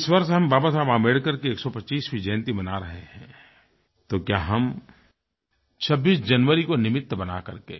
जब इस वर्ष हम बाबा साहेब अम्बेडकर की 125वी जयंती मना रहे हैं तो क्या हम 26 जनवरी को निमित्त बना करके